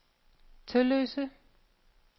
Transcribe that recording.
Tølløse